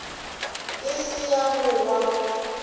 e se ya go wa